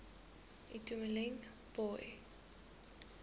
itumeleng pooe